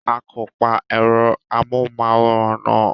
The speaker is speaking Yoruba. A kò pa ẹ̀rọ amóhùmáwòra náà.